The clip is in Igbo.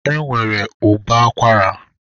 E nwere ụbọ akwara.